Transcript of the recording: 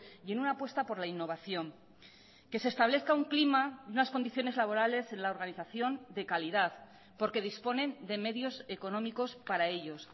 y en una apuesta por la innovación que se establezca un clima unas condiciones laborales en la organización de calidad porque disponen de medios económicos para ellos